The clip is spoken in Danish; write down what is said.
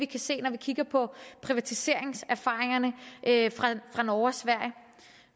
kan se når vi kigger på privatiseringserfaringerne fra norge og sverige